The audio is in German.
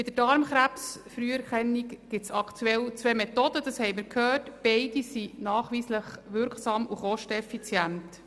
Bei der Darmkrebsfrüherkennung gibt es aktuell zwei Methoden, und beide sind nachweislich wirksam und kosteneffizient.